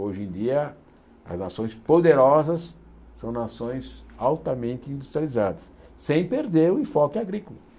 Hoje em dia, as nações poderosas são nações altamente industrializadas, sem perder o enfoque agrícola.